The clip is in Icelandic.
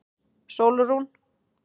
Sólrún